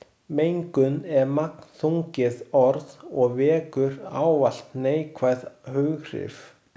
Mengun er magnþrungið orð og vekur ávallt neikvæð hughrif.